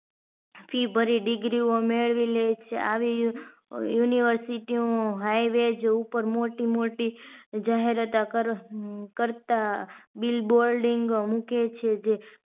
Fee ભરી degree ઓ મેળવી લે છે આવી university ઓ highvage ઉપર મોટી મોટી જાહેરાતો કરે કરતા bill bolding મૂકે છે જે